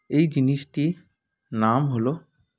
এই জিনিসটির নাম হলো